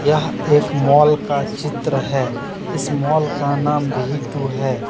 यह एक मॉल का चित्र है। इस मॉल का नाम भी टू है।